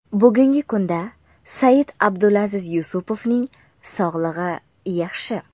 Bugungi kunda Said-Abdulaziz Yusupovning sog‘lig‘i yaxshi.